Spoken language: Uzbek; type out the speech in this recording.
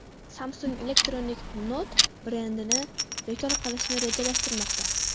Samsung Electronics Note brendini bekor qilishni rejalashtirmoqda.